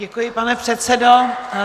Děkuji, pane předsedo.